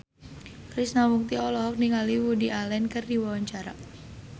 Krishna Mukti olohok ningali Woody Allen keur diwawancara